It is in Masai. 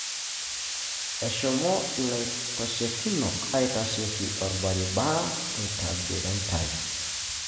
Eshomo ilaitashekinok aitasheki orbaribara oitabiritai.